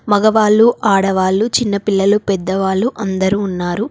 మగవాళ్ళు ఆడవాళ్ళు చిన్నపిల్లలు పెద్దవాళ్ళు అందరూ ఉన్నారు.